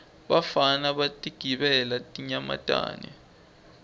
bafana batingela tinyamatane